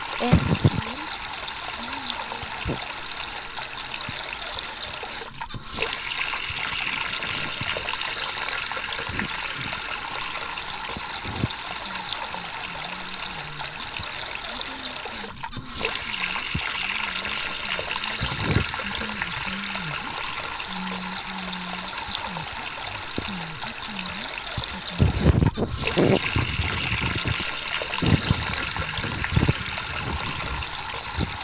En japur manyisowa kaka pur inyalo tim e yore mopogore opogore, ok onyiso ni nyaka ibed kod puodho maduong' malich eka pur nyalo dhi mbele. Nyiso ni pur inyalo timo kamora mora kata e ogunde kata e gik moyiedhi moketi to ipuro